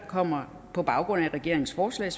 kommer på baggrund af regeringens forslag